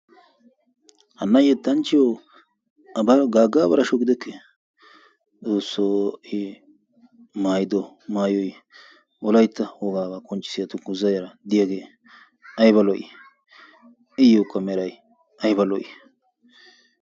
Hana yetanchchiyo Abari Gaaga Abarasho gidekkee? xoossoo a maayido maayoy wolaytta wogaa qonccissiya dunguzzay diyaagee aybba lo'ii? iyookka meray aybba lo'ii?